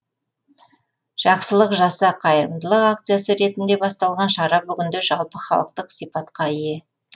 жақсылық жаса қайырымдылық акциясы ретінде басталған шара бүгінде жалпыхалықтық сипатқа ие